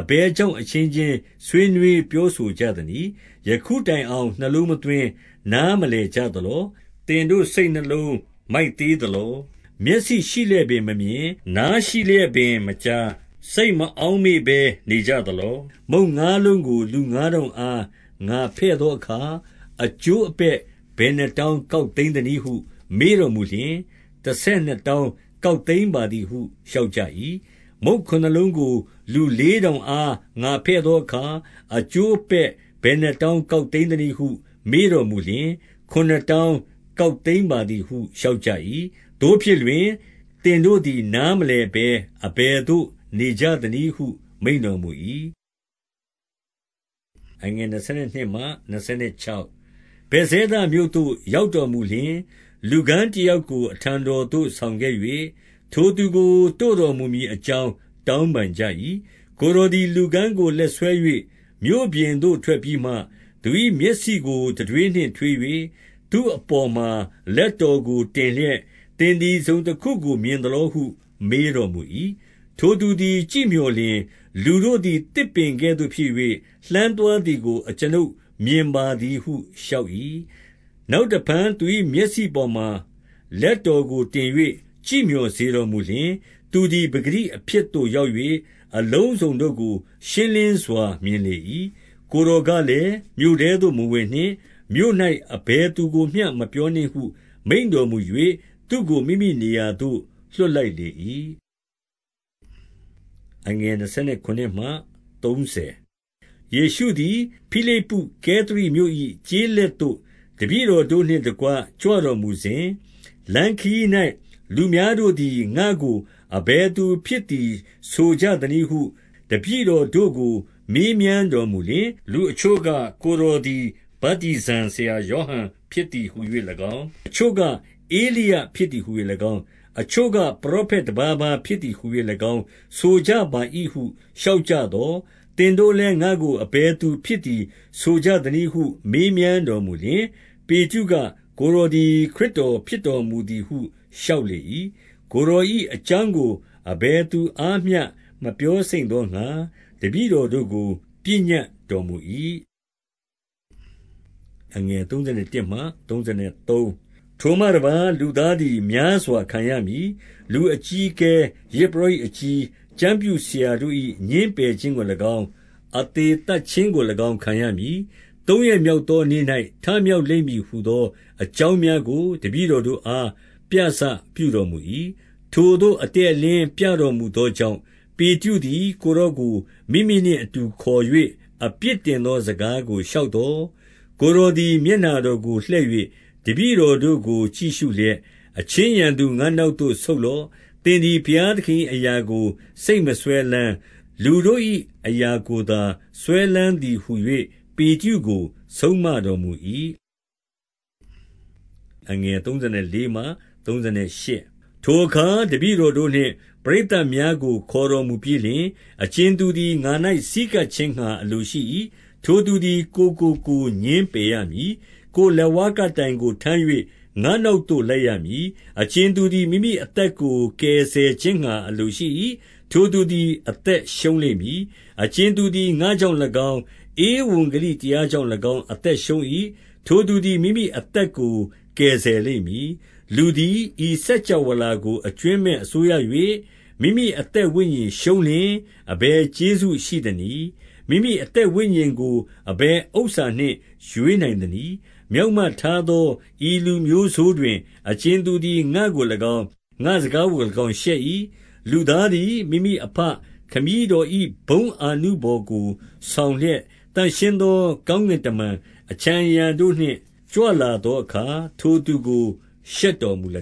အဘယ်ကြောင့်အချင်းချင်း ဆွေး နွေး ပြောဆိုကြသနည်း။ ယခုတိုင်အောင် နှလုံးမသွင်း၊ နားမလည်ကြသလော။ သင်တို့ စိတ်နှလုံးမိုက်သေး သလော။ 18 မျက်စိရှိလျက်ပင် မမြင်၊ နားရှိလျက်ပင် မကြား၊ စိတ်မအောက်မေ့ဘဲနေကြသလော။ 19 မုန့်ငါးလုံးကို လူငါးထောင်အား ငါဖဲ့သောအခါ အကျိုးအပဲ့ဘယ်နှစ်တောင်း ကောက်သိမ်း သနည်း ဟု မေးတော်မူလျှင်၊ တဆယ်နှစ်တောင်းကောက်သိမ်းပါသည်ဟု လျှောက်ကြ၏။ 20 မုန့်ခုနစ်လုံးကို လူလေးထောင်အား ငါဖဲ့သောအခါ အကျိုးအပဲ့ဘယ်နှစ်တောင်း ကောက်သိမ်းသနည်း ဟု မေးတော်မူလျှင်၊ ခုနစ်တောင်းကောက်သိမ်းပါသည်ဟု လျှောက်ကြ၏။ 21 သို့ဖြစ်လျှင်၊ သင်တို့သည် နားမလည်ဘဲ အဘယ်သို့ နေကြသနည်းဟု မိန့်တော်မူ၏။ 22 ဗက်ဇဲဒမြို့သို့ ရောက်တော်မူလျှင်၊ လူကန်းတယောက်ကို အထံတော်သို့ဆောင်ခဲ့၍၊ ထိုသူကို တို့တော်မူမည်အကြောင်း တောင်းပန်ကြ၏။ 23 ကိုယ်တော်သည် လူကန်းကိုလက်ဆွဲ၍ မြို့ပြင်သို့ ထွက်ပြီးမှ၊ သူ၏မျက်စိကို တံထွေးနှင့်ထွေး၍ သူ့အပေါ်မှာ လက်တော်ကိုတင်လျက်၊ သင်သည် တစုံတခုကို မြင်သလောဟု မေးတော်မူ၏။ 24 ထိုသူသည် ကြည့်မျှော်လျှင်၊ လူတို့သည် သစ်ပင်ကဲ့သို့ဖြစ်၍ လှမ်းသွားသည်ကို အကျွန်ုပ် မြင်ပါသည် ဟု လျှောက်၏။ 25 နောက်တဖန်သူ၏မျက်စိပေါ်မှာ လက်တော်ကိုတင်၍ ကြည့်မျှော်စေတော်မူလျှင်၊ သူသည် ပကတိ အဖြစ်သို့ ရောက်၍ အလုံးစုံတို့ကို ရှင်းလင်းစွာမြင်လေ၏။ 26 ကိုယ်တော်ကလည်း၊ မြို့ထဲသို့မဝင်နှင့်။ မြို့၌ အဘယ်သူကိုမျှမပြောနှင့်ဟု မိန့်တော်မူ၍ သူ့ကို မိမိ နေရာသို့ လွှတ်လိုက်လေ၏။ 27 ယေရှုသည် ဖိလိပ္ပုကဲသရိမြို့၏ ကျေးလက်သို့ တပည့်တော်တို့နှင့်တကွ ကြွတော်မူစဉ်၊ လမ်းခရီး၌ လူများတို့သည် ငါ့ကို အဘယ်သူဖြစ်သည်ဆိုကြသနည်းဟု တပည့်တော်တို့ကို မေးမြန်းတော်မူလျှင်၊ 28 လူအချို့က၊ ကိုယ်တော်သည် ဗတ္တိဇံဆရာယောဟန်ဖြစ်သည်ဟူ၍၎င်း၊ အချို့က ဧလိယဖြစ်သည် ဟူ ၍၎င်း၊ အချို့က ပရောဖက်တပါးပါးဖြစ်သည်ဟူ၍၎င်း ဆိုကြပါ၏ဟု လျှောက်ကြသော်၊ 29 သင်တို့လည်း ငါ့ကို အဘယ်သူဖြစ်သည် ဆိုကြသနည်းဟု မေးမြန်းတော်မူလျှင်၊ ပေတရုက၊ ကိုယ်တော်သည် ခရစ်တော်ဖြစ်တော်မူသည်ဟု လျှောက်လေ၏။ 30 ကိုယ်တော်၏အကြောင်းကို အဘယ်သူအားမျှမပြောစိမ့်သောငှါ တပည့်တော်တို့ကို ပညတ်တော်မူ၏။ 31 ထိုမှတပါး၊ လူသားသည်များစွာ ခံရမည်။ လူအကြီးအကဲ၊ ယဇ်ပုရောဟိတ်အကြီး၊ ကျမ်းပြုဆရာတို့၏ ငြင်းပယ်ခြင်းကို၎င်း၊ အသေသတ်ခြင်းကို၎င်းခံရမည်။ သုံးရက်မြောက်သောနေ့၌ ထမြောက်လိမ့်မည်ဟူသော အကြောင်းများကို တပည့်တော်တို့အား ပြစပြုတော်မူ၏။ 32 ထိုသို့အတည့်အလင်းပြတော်မူသောကြောင့် ပေတရုသည် ကိုယ်တော်ကို မိမိနှင့်အတူခေါ်၍ အပြစ် တင်သောစကားကို လျှောက်သော်၊ 33 ကိုယ်တော်သည် မျက်နှာတော်ကိုလှည့်၍ တပည့်တော်တို့ကိုကြည့်ရှုလျက်၊ အချင်းရန်သူ၊ ငါ့နောက်သို့ ဆုတ်လော့။ သင်သည် ဘုရားသခင်၏အရာကို စိတ်မစွဲလမ်း၊ လူတို့၏အရာကိုသာ စွဲလမ်းသည်ဟူ၍ ပေတရု ကို ဆုံးမတော်မူ၏။ 34 ထိုအခါ တပည့်တော်တို့နှင့် ပရိတ်သတ်များကို ခေါ်တော်မူပြီးလျှင်၊ အကြင်သူသည် ငါ၌ဆည်းကပ် ခြင်းငှါ အလိုရှိ၏။ ထိုသူသည် ကိုယ်ကိုကိုယ် ငြင်းပယ်ရမည်။ ကိုယ်လက်ဝါးကပ်တိုင်ကို ထမ်း၍ ငါ့နောက်သို့ လိုက်ရမည်။ 35 အကြင်သူသည် မိမိအသက်ကို ကယ်ဆယ်ခြင်းငှါအလိုရှိ၏။ ထိုသူသည် အသက်ရှုံးလိမ့်မည်။ အကြင် သူသည် ငါ့ကြောင့်၎င်း၊ ဧဝံဂေလိတရားကြောင့်၎င်း အသက်ရှုံး၏။ ထိုသူသည် မိမိအသက်ကို ကယ်ဆယ်လိမ့် မည်။ 36 လူသည် ဤစကြာဝဠာကို အကြွင်းမဲ့အစိုးရ၍ မိမိအသက်ဝိညာဉ်ရှုံးလျှင် အဘယ်ကျေးဇူးရှိသနည်း။ 37 မိမိအသက်ဝိညာဉ်ကို အဘယ်ဥစ္စာနှင့် ရွေးနိုင်သနည်း။ 38 မျောက်မထားသော ဤလူမျိုးဆိုးတွင် အကြင်သူသည် ငါ့ကို၎င်း၊ ငါ့စကားကို၎င်းရှက်၏။ လူသား သည် မိမိအဘခမည်းတော်၏ ဘုန်းအာနုဘော်ကို ဆောင်လျက်၊ သန့်ရှင်းသော ကောင်းကင်တမန် အခြံအရံ တို့နှင့် ကြွလာသောအခါ ထိုသူကို ရှက်တော်မူလ